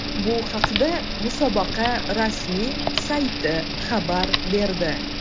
Bu haqda musobaqa rasmiy sayti xabar berdi.